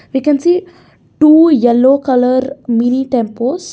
we can see two yellow colour mini tempos.